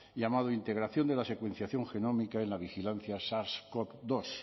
llamado integración de la secuenciación genómica en la vigilancia sars cov dos